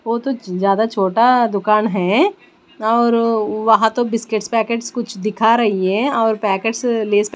वो तो ज्यादा छोटा दुकान है और वहां तो बिस्किट पैकेट कुछ दिखा रही हैं और पैकेट्स ले--